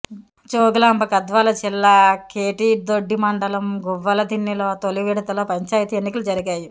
జోగులాంబ గద్వాల జిల్లా కేటీదొడ్డి మండలం గువ్వలదిన్నెలో తొలి విడతలో పంచాయతీ ఎన్నికలు జరిగాయి